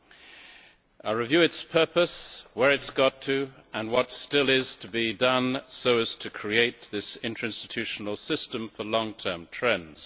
I will review its purpose, where it has got to, and what still is to be done to create this interinstitutional system for long term trends.